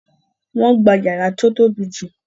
Wọ́n gba yàrá tí ó tóbi jù